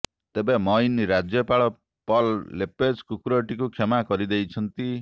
ତେବେ ମୈନ୍ ରାଜ୍ୟପାଳ Paul LePage କୁକୁରଟିକୁ କ୍ଷମା କରି ଦେଇଛନ୍ତି